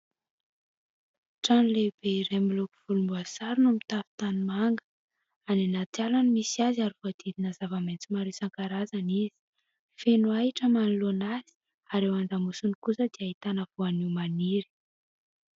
Trano lehibe iray miloko volomboasary no mitafo tanimanga. Any anaty ala no misy azy ary voadidina zava-maitso maro isan-karazany izy, feno ahitra manoloana azy, ary eo an-damosiny kosa ahitana voanio maniry.